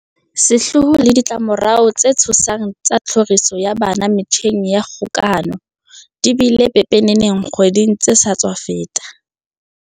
Sehloho le ditla-morao tse tshosang tsa tlhoriso ya bana metjheng ya kgokahano di bile pepeneneng dikgweding tse sa tswa feta.